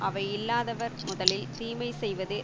அவை இல்லாதவர் முதலில் தீமை செய்வது